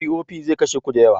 POP zai kashe ku da yawa